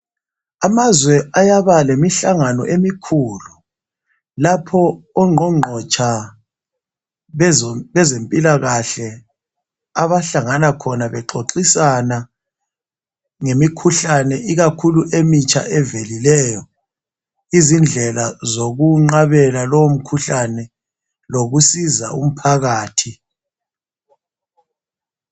Amazwe ayaba lemihlangano emikhulu lapho ongqongqotsha bezempilakahle abahlangana khona bexoxisana ngemikhuhlane ikakhulu emitsha evelileyo indlela zokuwenqabela lowo mkhuhlane, lokusiza umphakathi.